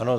Ano.